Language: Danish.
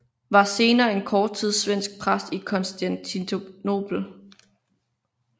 Var senere en kort tid svensk præst i Konstantinopel